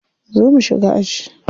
Zo mu shiga aji.